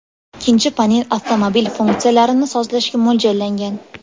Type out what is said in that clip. Ikkinchi panel avtomobil funksiyalarini sozlashga mo‘ljallangan.